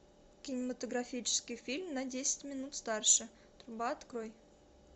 кинематографический фильм на десять минут старше труба открой